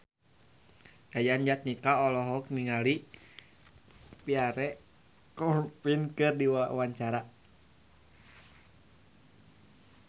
Yayan Jatnika olohok ningali Pierre Coffin keur diwawancara